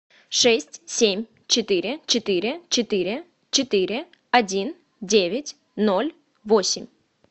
шесть семь четыре четыре четыре четыре один девять ноль восемь